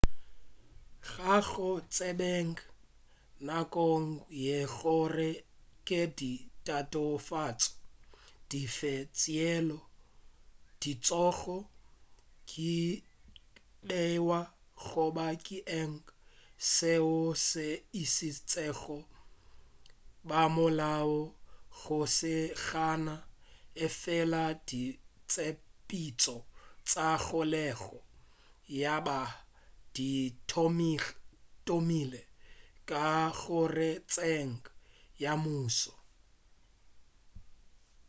ga go tsebege nakong ye gore ke di tatofatšo dife tšeo di tlogo beiwa goba ke eng seo se išitšego bamolao go lesogana efela ditshepetšo tša kgolego ya bana di thomile ka kgorotsekong ya mmušo